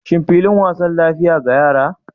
Shin filin wasa lafiya ga yara?